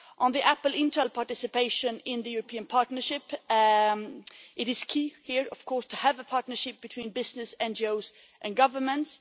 On the Apple Intel participation in the European partnership, it is key here to have a partnership between business, NGOs and governments.